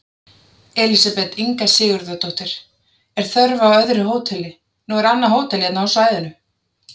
Elísabet Inga Sigurðardóttir: Er þörf á öðru hóteli, nú er annað hótel hérna á svæðinu?